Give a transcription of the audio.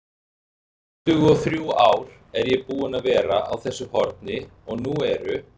tuttugu-og-þrjú ár er ég búinn að vera á þessu horni og nú eru